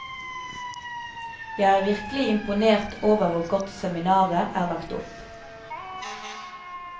Jeg er virkelig imponert over hvor godt seminaret er lagt opp.